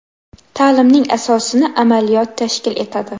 Ta’limning asosini amaliyot tashkil etadi.